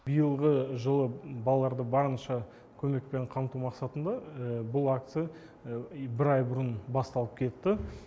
биылғы жылы балаларды барынша көмекпен қамту мақсатында бұл акция бір ай бұрын басталып кетті